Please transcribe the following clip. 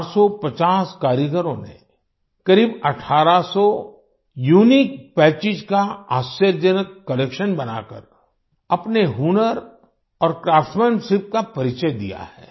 450 कारीगरों ने करीब 1800 यूनिक पैचेस का आश्चर्यजनक कलेक्शन बनाकर अपने हुनर और क्राफ्ट्समैनशिप का परिचय दिया है